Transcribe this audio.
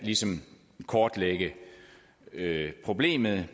kortlægge problemet